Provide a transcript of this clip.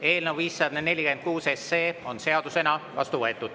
Eelnõu 546 on seadusena vastu võetud.